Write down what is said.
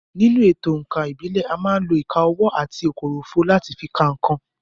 Nínú èto òǹkà ìbílẹ̀, à má ń lo ìka ọwọ́ àti kòròfo láti fi ka nǹkan.